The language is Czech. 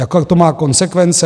Jaké to má konsekvence?